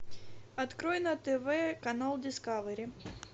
открой на тв канал дискавери